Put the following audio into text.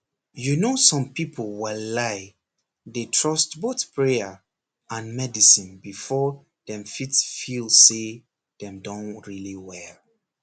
you know some people walai dey trust both prayer and medicine before dem fit feel say dem don really well